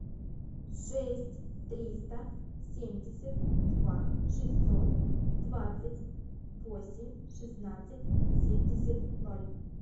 шесть триста семьдесят два шестьсот двадцать восемь шестнадцать семьдесят ноль